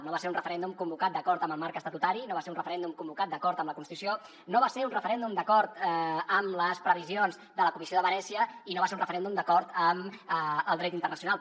no va ser un referèndum convocat d’acord amb el marc estatutari no va ser un referèndum convocat d’acord amb la constitució no va ser un referèndum d’acord amb les previsions de la comissió de venècia i no va ser un referèndum d’acord amb el dret internacional